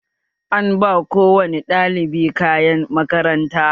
An ba ko wane ɗalibi kayan makaranta